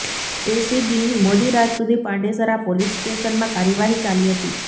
એસીબીની મોડીરાત સુધી પાંડેસરા પોલીસ સ્ટેશનમાં કાર્યવાહી ચાલી હતી